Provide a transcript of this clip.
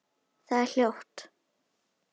Það er hljótt.